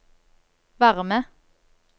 varme